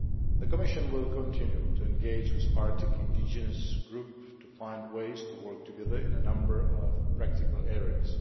The Commission will continue to engage with Arctic indigenous groups to find ways to work together in a number of practical areas.